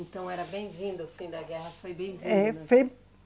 Então era bem-vindo, o fim da guerra foi bem-vindo. Eh